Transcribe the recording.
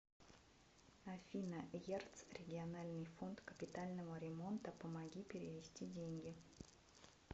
афина ерц региональный фонд капитального ремонта помоги перевести деньги